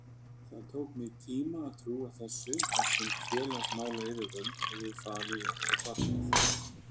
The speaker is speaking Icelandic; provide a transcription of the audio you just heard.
Það tók mig tíma að trúa þessu þar sem félagsmálayfirvöld höfðu falið okkur barnið.